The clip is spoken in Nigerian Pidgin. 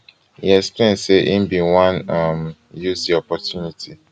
e explain say im bin wan um use di opportunity